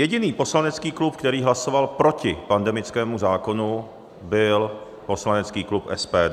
Jediný poslanecký klub, který hlasoval proti pandemickému zákonu, byl poslanecký klub SPD.